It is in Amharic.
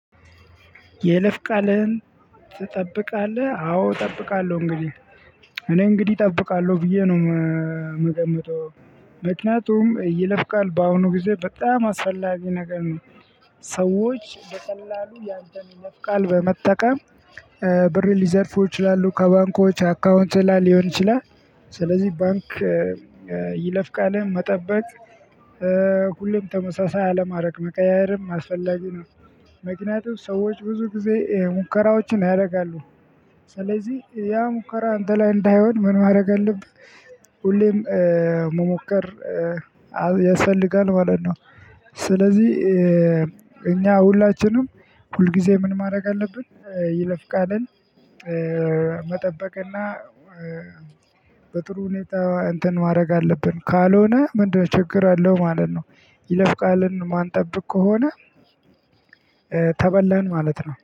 የይለፍ ቃልህን ትጠብቃለህ አዎ እጠብቃለሁ እንግዲህ እኔ እንግዲህ እጠብቃለሁ ብዬ ነው የምገምተው። ምክንያቱም የይለፍ ቃል በአሁኑ ጊዜ በጣም አስፈላጊ ነገር ነው። ሰዎች በቀላሉ ያንተን የይለፍ ቃል በመጠቀም። ብር ሊዘርፉ ይችላሉ ከባንኮች አካውንት ላይ ሊሆን ይችላል። ስለዚህ ባንክ የይለፍ ቃልህን መጠበቅ ሁሌም ተመሳሳይ አለማድረግ መቀያየርም አስፈላጊ ነው። ምክንያቱም ሰዎች ብዙ ጊዜ ሙከራዎችን ያደርጋሉ። ስለዚህ ያ ሙከራ አንተ ላይ እንዳይሆን ምን ማድረግ አለብህ ሁሌም መሞከር ያስፈልጋል ማለት ነው። ስለዚህ እኛ ሁላችንም ሁልጊዜ ምን ማድረግ አለብን ይለፍ ቃልን? መጠበቅና በጥሩ ሁኔታ እንትን ማድረግ አለብን። ካልሆነ ምንድነው ችግር ችግር አለው ማለት ነው። ይለፍ ቃልን ማን? ጠብቅ ከሆነ ተበላን ማለት ነው